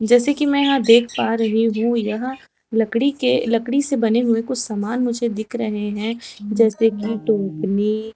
जैसे की मैं यहां देख पा रही हूं यह लकड़ी के लकड़ी से बने हुए कुछ समान मुझे दिख रहे हैं जैसे की टोपनी--